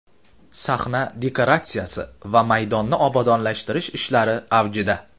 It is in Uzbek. Sahna dekoratsiyasi va maydonni obodonlashtirish ishlari avjida.